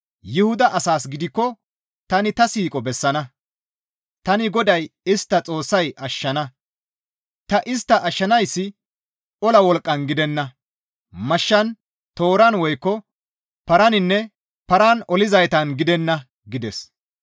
Yuhuda asaas gidikko tani ta siiqo bessana. Tani GODAY istta Xoossay ashshana; ta istta ashshanayssi ola wolqqan gidenna; mashshan, tooran woykko paraninne paran olizaytan gidenna» gides.